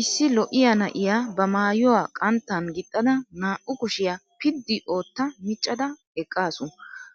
Issi lo"iya na"iya ba maayuwa qanttan gixxada naa"u kushiya piddi ootta miccada eqaasu.